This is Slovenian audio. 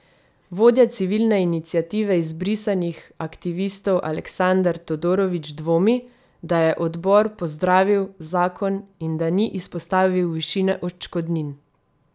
Vodja Civilne iniciative izbrisanih aktivistov Aleksandar Todorović dvomi, da je odbor pozdravil zakon in da ni izpostavil višine odškodnin.